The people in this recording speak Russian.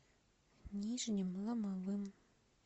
нижним ломовым